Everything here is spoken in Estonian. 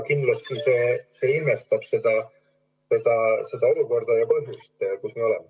Kindlasti see ilmestab seda olukorda, kus me oleme.